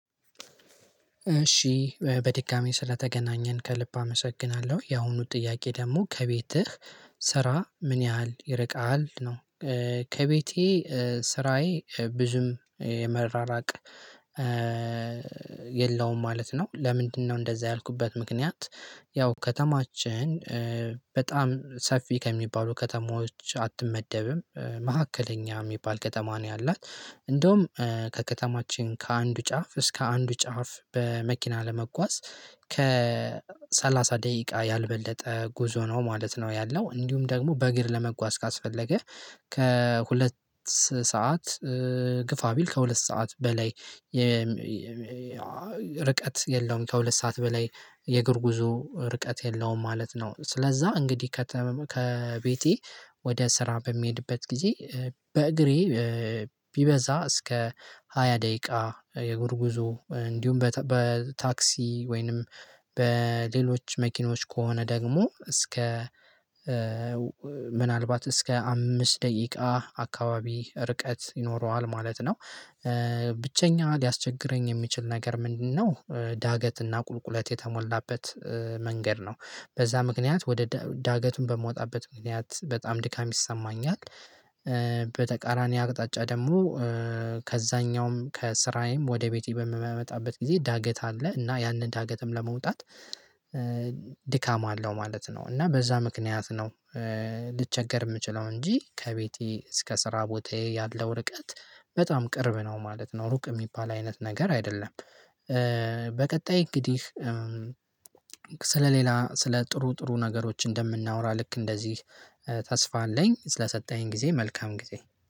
እሺ በድጋሚ ስለተገናኘን ከልብ አመሰግናለሁ የአሁኑ ጥያቄ ደግሞ ከቤትህ ስራ ምን ያህል ይርቃል ነው? ከቤቴ ስራዬ ብዙም የመራራቅ የለውም ማለት ነው። ለምንድነው እንደዛ ያልኩበት ምክንያት? ያው ከተማችን በጣም ሰፊ ከሚባሉ ከተማዎች አትመደብም መካከለኛ የሚባል ከተማ ነው ያላት። እንደውም ከከተማችን ከአንዱ ጫፍ እስከ አንዱ ጫፍ በመኪና ለመጓዝ ከሰላሳ ደቂቃ ያልበለጠ ጉዞ ነው ማለት ነው። ያለው እንዲሁም ደግሞ በእግር ለመጓዝ ካስፈለገ ከሁለት ሰዓት ግፋ ቢል ከሁለት ሰዓት በላይ ርቀት የለውም። ከሁለት ሰዓት በላይ የእግር ጉዞ ርቀት የለውም ማለት ነው። ስለዛ እንግዲህ ከቤቴ ወደ ስራ በሚሄድበት ጊዜ በእግሬ ቢበዛ እስከ ሃያ ደቂቃ የእግር ጉዞ እንዲሁም በታክሲ ወይንም በሌሎች መኪኖች ከሆነ ደግሞ እስከ ምናልባት እስከ አምስት ደቂቃ አካባቢ ርቀት ይኖረዋል ማለት ነው። ብቸኛ ሊያስቸግረኝ የሚችል ነገር ምንድነው? ዳገትና ቁልቁለት የተሞላበት መንገድ ነው በዛ ምክንያት ወደ ዳገቱን በምወጣበት ምክንያት በጣም ድካም ይሰማኛል። አቅጣጫ ደግሞ ከዛኛውም ከስራዬም ወደ ቤቴ በምመጣበት ጊዜ ዳገት አለ እና ያንን ዳገትም ለመውጣት ድካም አለው ማለት ነው። እና በዛ ምክንያት ነው ልቸገር የምችለው እንጂ ከቤቴ እስከ ስራ ቦታዬ ያለው ርቀት በጣም ቅርብ ነው ማለት ነው። ሩቅ የሚባል አይነት ነገር አይደለም። በቀጣይ እንግዲህ ስለሌላ ስለ ጥሩ ጥሩ ነገሮች እንደምናወራ ልክ እንደዚህ ተስፋ አለኝ ስለሰጠኝ ጊዜ መልካም ጊዜ